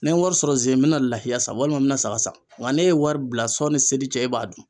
Ni n ye wari sɔrɔ ze n mɛna lahiya san walima n bɛna saga san, n ka n'e ye wari bila sɔnni seli cɛ e b'a dun.